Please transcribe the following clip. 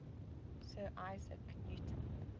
sir isaac newton